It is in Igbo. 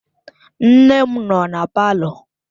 Nne m nọ na palọ.